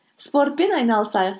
спортпен айналысайық